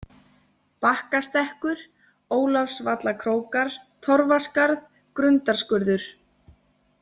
Bakkastekkur, Ólafsvallakrókar, Torfaskarð, Grundarskurður